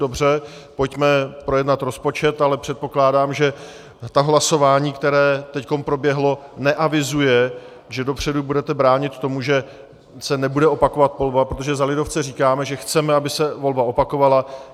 Dobře, pojďme projednat rozpočet, ale předpokládám, že to hlasování, které teď proběhlo, neavizuje, že dopředu budete bránit tomu, že se nebude opakovat volba, protože za lidovce říkáme, že chceme, aby se volba opakovala.